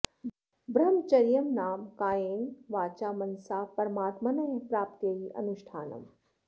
ब्रह्मचर्यं नाम कायेन वाचा मनसा परमात्मनः प्राप्त्यै अनुष्ठानम्